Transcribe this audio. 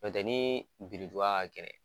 N'o tɛ ni biriduga ka gɛlɛn